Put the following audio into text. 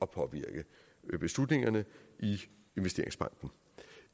påvirke beslutningerne i investeringsbanken